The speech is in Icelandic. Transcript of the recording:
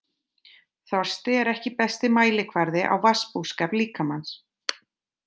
Þorsti er ekki besti mælikvarði á vatnsbúskap líkamans.